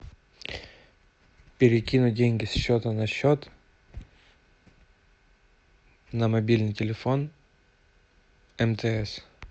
перекинуть деньги со счета на счет на мобильный телефон мтс